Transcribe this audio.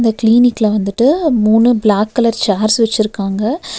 க்ளினிக்ல வந்துட்டு மூணு black colour chairs வெச்சிருக்காங்க.